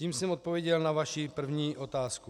Tím jsem odpověděl na vaši první otázku.